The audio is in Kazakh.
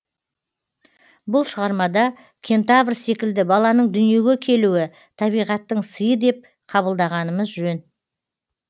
бұл шығармада кентавр секілді баланың дүниеге келуі табиғаттың сыйы деп қабылдағанымыз жөн